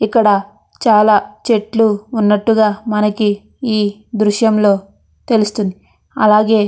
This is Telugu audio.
ఇక్కడ చాల చెట్లు ఉన్నట్టుగా మనకి ఈ దృశ్యం లో తెలుస్తుంది అలాగే --